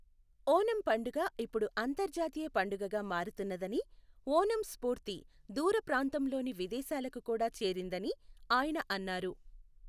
ఒనం పండుగ ఇప్పుడు అంతర్జాతీయ పండుగగా మారుతున్నదని, ఓనం స్ఫూర్తి దూర ప్రాంతంలోని విదేశాలకు కూడా చేరిందని ఆయన అన్నారు.